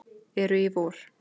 eru í vor.